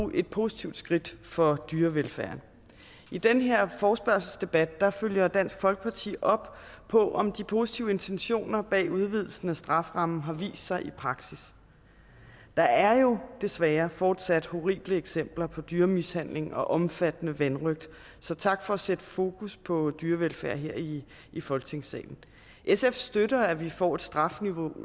et positivt skridt for dyrevelfærden i den her forespørgselsdebat følger dansk folkeparti op på om de positive intentioner bag udvidelsen af strafferammen har vist sig i praksis der er jo desværre fortsat horrible eksempler på dyremishandling og omfattende vanrøgt så tak for at sætte fokus på dyrevelfærd her i folketingssalen sf støtter at vi får et strafniveau